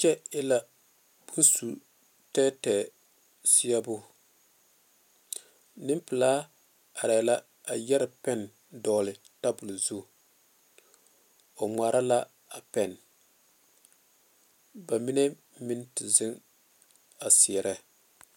Kyɛ e la bon su tɛɛtɛɛ die nempɛlaa are la a yɛre bon pɛle poɔ o gmare la a pene ba mine meŋ te zeŋe sereŋ. .